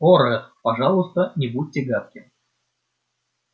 о ретт пожалуйста не будьте гадким